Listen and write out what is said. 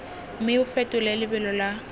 mme o fetole lebelo la